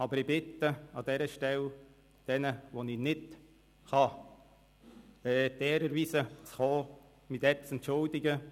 Aber ich bitte an dieser Stelle diejenigen, denen ich die Ehre werde erweisen können zu kommen, schon jetzt um Entschuldigung.